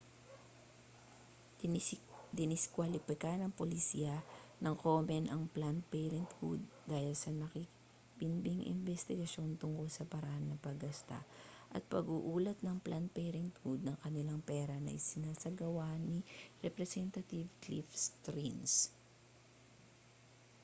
diniskwalipika ng polisiya ng komen ang planned parenthood dahil sa nakabinbing imbestigasyon tungkol sa paraan ng paggasta at pag-uulat ng planned parenthood ng kanilang pera na isinasagawa na ni representantive cliff stearns